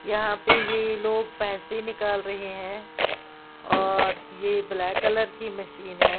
यहां पे ये लोग पैसे निकाल रहे हैं और ये ब्लैक कलर की मशीन है।